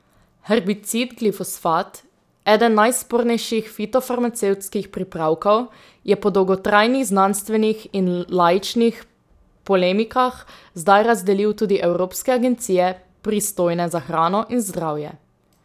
Herbicid glifosat, eden najspornejših fitofarmacevtskih pripravkov, je po dolgotrajnih znanstvenih in laičnih polemikah zdaj razdelil tudi evropske agencije, pristojne za hrano in zdravje.